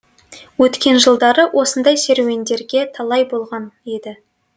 өткен жылдары осындай серуендерге талай болған еді